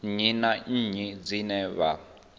nnyi na nnyi dzine vha